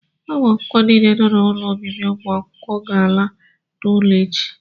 ụmụ akwụkwọ niile nọ n'ụlọ obibi ụmụ akwụkwọ ga-ala n'ụlọ echi